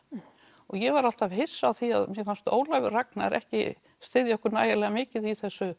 og ég var alltaf hissa á því og mér fannst Ólafur Ragnar ekki styðja okkur nægilega mikið í þessu